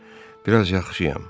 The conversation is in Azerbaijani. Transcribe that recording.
Biraz yaxşıyam.